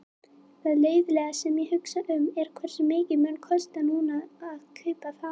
Það leiðinlega sem ég hugsa um er, hversu mikið mun kosta núna að kaupa þá?